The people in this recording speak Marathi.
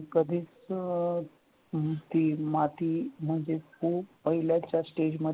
कधीच नुसती माती म्हणजेच तो पहिल्याच्या stage मध्ये